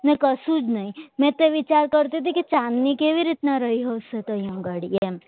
અને કશું જ નહીં મેં તો વિચાર કરતી હતી કે જાનને કેવી રીતના રહેશે ત્યાં ઘડી એમ